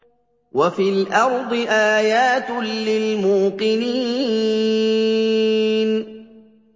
وَفِي الْأَرْضِ آيَاتٌ لِّلْمُوقِنِينَ